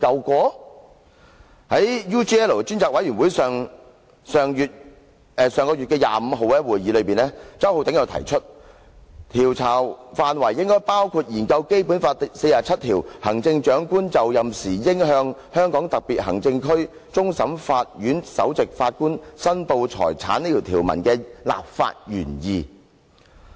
在上月25日，專責委員會的會議上，周浩鼎議員提出，調查範圍應包括研究《基本法》第四十七條，即"行政長官就任時應向香港特別行政區終審法院首席法官申報財產"這項條文的立法原意。